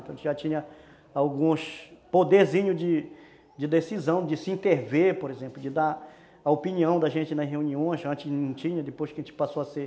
A gente já tinha alguns poderzinhos de de decisão, de se interver, por exemplo, de dar a opinião da gente nas reuniões, que antes não tinha, depois que a gente passou a ser